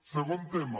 segon tema